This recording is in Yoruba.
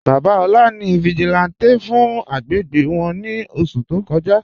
Baba Ola ni vigílántè fún àgbégbé wọn ni oṣù tó kọ́jà..